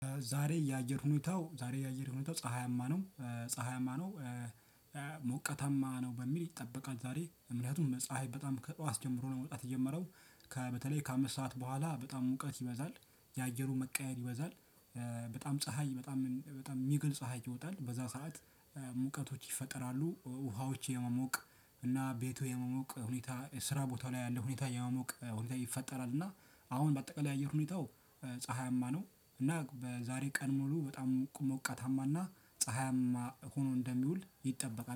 ዛሬ የአየር ሁኔታው፣ ዛሬ የአየር ሁኔታው ፀሀያማ ነው፤ ፀሀያማ ነው። ሞቀታማ ነው በሚል ይጠበቃል ዛሬ። ምክንያቱም ፀሀይ በጣም ከጠዋት ጀምሮ ለመውጣት የጀመረው። ከበተለይ ከአምስት ሰዓት በኋላ በጣም ሙቀት ይበዛል። የአየሩ መቀያየር ይበዛል። በጣም ፀሀይ፣ በጣም፣ በጣም የሚገል ፀሀይ ይወጣል። በዛ ሰዓት ሙቀቶች ይፈጠራሉ፣ ውሃዎች የመሞቅ እና ቤቱ የመሞቅ ሁኔታ ስራ ቦታ ላይ ያለ ሁኔታ የማሞቅ ሁኔታ ይፈጠራል። እና አሁን በአጠቃላይ የሆነ ሁኔታው ፀሀያማ ነው። እና በዛሬ ቀን ሙሉ በጣም ሞቃታማና ፀሀያማ ሆኖ እንደሚውል ይጠበቃል።